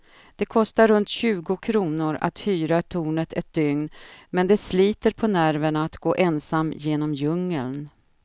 Det kostar runt tjugo kronor att hyra tornet ett dygn, men det sliter på nerverna att gå ensam genom djungeln.